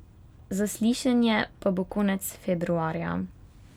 Zaslišanje pa bo konec februarja.